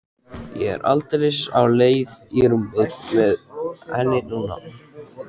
Ég er aldeilis á leið í rúmið með henni núna.